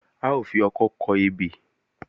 A ó fi ọkọ́ kọ ebè